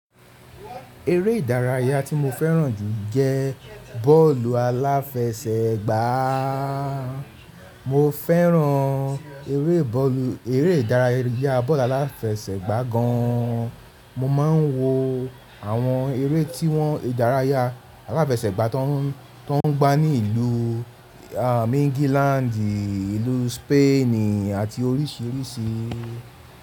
Eré ìdárayá tí mo fẹ́ràn jù jẹ bọ́ọ̀lù aláfẹsẹ̀gbá. Mo fẹ́ràn eré ìdárayá bọ́ọ̀lù aláfẹsẹ̀gbá gan an. Mo ma ń wo àwọn eré tí wọ́n ìdárayá aláfẹsẹ̀gbá tó ń gbá ní ìlú, à England, ìlú Spain àti oríṣiríṣi.